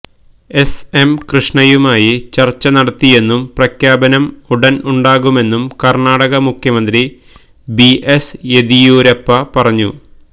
SM കൃഷ്ണയുമായി ചർച്ച നടത്തിയെന്നും പ്രഖ്യാപനം ഉടൻ ഉണ്ടാകുമെന്നും കർണാടക മുഖ്യമന്ത്രി ബി എസ് യെദിയൂരപ്പ പറഞ്ഞു